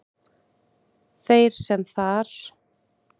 Þeir sem þar